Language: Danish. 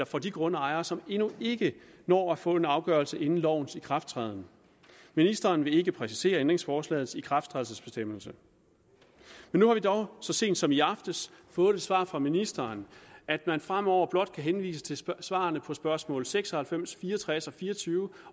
for de grundejere som endnu ikke når at få en afgørelse inden lovens ikrafttræden ministeren vil ikke præcisere ændringsforslagets ikrafttrædelsesbestemmelse men nu har vi dog så sent som i aftes fået et svar fra ministeren at man fremover blot kan henvise til svarene på spørgsmål seks og halvfems fire og tres og fire og tyve